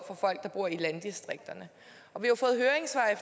folk der bor i landdistrikterne og vi